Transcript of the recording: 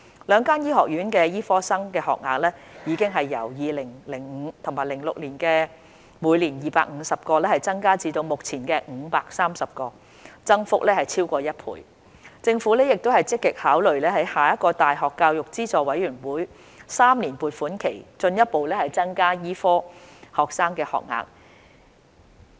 兩間醫學院的醫科生學額已由 2005-2006 學年的每年250個增至目前的530個，增幅超過1倍；政府亦積極考慮在下一個大學教育資助委員會3年撥款期進一步增加醫科生學額。